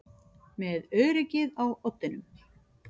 Með öryggið á oddinum